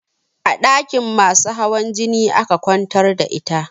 A ɗakin masu hawan jini aka kwantar da ita